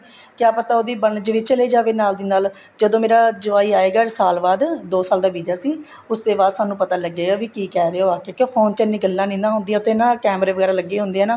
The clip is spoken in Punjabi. ਕਿਆ ਪਤਾ ਉਹਦੀ ਬਣ ਜਵੇ ਉਹ ਚਲੇ ਜਵੇ ਨਾਲ ਦੀ ਨਾਲ ਜਦੋਂ ਮੇਰਾ ਜਵਾਈ ਆਏਗਾ ਸਾਲ ਬਾਅਦ ਦੋ ਸਾਲ ਦਾ ਵੀਜਾ ਸੀ ਉਸ ਤੇ ਬਾਅਦ ਸਾਨੂੰ ਪਤਾ ਲੱਗੇਗਾ ਵੀ ਕੀ ਕਹਿ ਰਹਿਆ ਉਹ ਆਕੇ ਕਿਉ ਫੋਨ ਤੇ ਐਨੀ ਗੱਲਾਂ ਨਹੀਂ ਹੁੰਦੀਆਂ ਉੱਥੇ ਨਾ ਕੈਮਰੇ ਵਗੈਰਾ ਲੱਗੇ ਹੁੰਦੇ ਹੈ ਨਾ